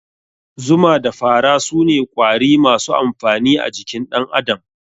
Zuma da fara sune Ƙwari masu amfani a jikin dan Adam